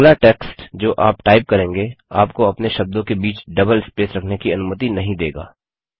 अगला टेक्स्ट जो आप टाइप करेंगे आपको अपने आप शब्दों के बीच डबल स्पेस रखने की अनुमति नहीं देगा